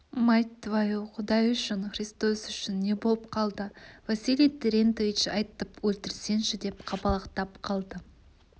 мать твою құдай үшін христос үшін не болып қалды василий терентьевич айтып өлтірсеңші деп қалбалақтап қалды